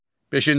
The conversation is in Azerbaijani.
Beşinci.